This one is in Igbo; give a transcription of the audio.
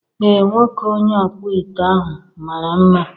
Ee, nwoke onye ọkpụ ite ahụ mara mma